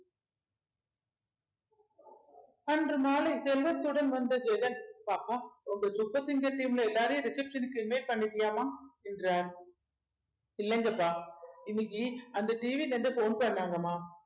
அன்று மாலை செல்வத்துடன் வந்த ஜெகன் பாப்பா உங்க சூப்பர் சிங்கர் team ல எல்லாரையும் reception க்கு invite பண்ணிட்டியாமா என்றார் இல்லங்கப்பா இன்னைக்கு அந்த TV ல இருந்து phone பண்ணாங்கம்மா